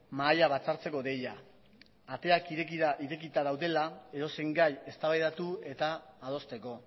mahaia batzartzeko deia ateak irekita daudela edozein gai eztabaidatu eta adosteko